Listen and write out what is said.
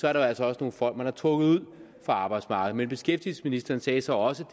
er der altså også nogle folk man har trukket ud af arbejdsmarkedet men beskæftigelsesministeren sagde så også